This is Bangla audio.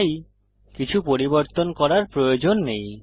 তাই কিছু পরিবর্তন করার প্রয়োজন নেই